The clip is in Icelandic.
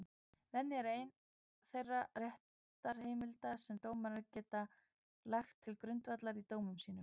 Venja er ein þeirra réttarheimilda sem dómarar geta lagt til grundvallar í dómum sínum.